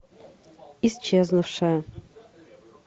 исчезнувшая